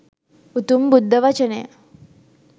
උතුම් බුද්ධ වචනය